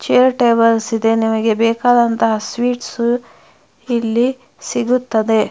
Chair tables ಇದೆ ನಿಮಗೆ ಬೇಕಾದಂತಹ ಸ್ವೀಟ್ಸ್ ಇಲ್ಲಿ ಸಿಗುತ್ತದೆ.